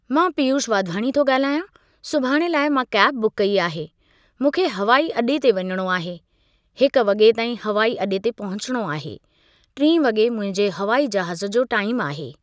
मां पीयुष वाधवानी थो ॻाल्हायां सुभाण लाइ मां कैब बुक कई आहे, मूंखे हवाई अॾे ते वञिणो आहे, हिक वॻे ताईं हवाई अॾे ते पहुचणो आहे, टी वॻे मुंहिंजे हवाई जहाज़ जो टाइम आहे।